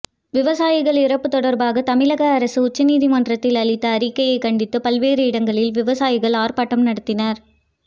விவசாயிகள் இறப்பு தொடர்பாக தமிழக அரசு உச்ச நீதிமன்றத்தில் அளித்த அறிக்கையை கண்டித்து பல்வேறு இடங்களில் விவசாயிகள் ஆர்ப்பாட்டம் நடத்தினர்